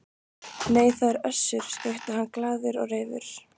Nei, það er Össur, skrækti hann glaður og reifur.